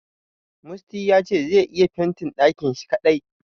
Musty ya ce zai iya fentin ɗakin shi kadai.